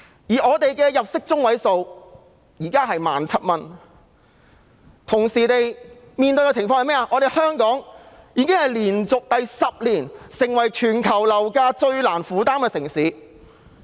香港人的入息中位數是 17,000 元，但香港同時亦連續10年成為全球樓價最難負擔的城市。